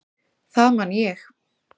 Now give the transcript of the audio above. Það man ég.